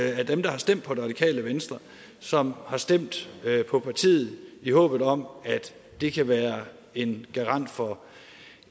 af dem der har stemt på det radikale venstre som har stemt på partiet i håbet om at det kan være en garant for